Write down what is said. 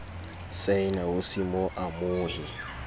saena ho se mo amohe